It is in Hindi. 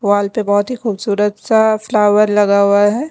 वॉल पे बहुत ही खूबसूरत सा फ्लावर लगा हुआ है।